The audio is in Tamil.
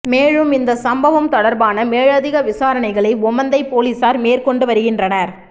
மேலும் இந்த சம்பவம் தொடர்பான மேலதிக விசாரணைகளை ஓமந்தை பொலிஸார் மேற்கொண்டு வருகின்றனர்